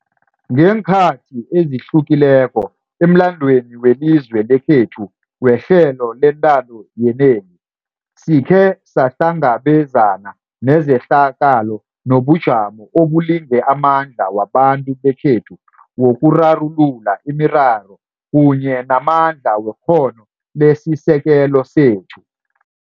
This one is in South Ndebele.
Ngeenkhathi ezihlukileko emlandweni welizwe lekhethu wehlelo lentando yenengi, sikhe sahlangabezama nezehlakalo nobujamo obulinge amandla wabantu bekhethu wokurarulula imiraro kunye namandla wekghono lesisekelo sethu.